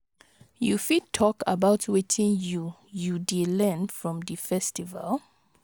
you fit talk about wetin you you dey learn from di festival?